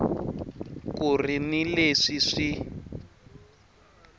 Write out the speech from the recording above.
ku ri ni leswi swi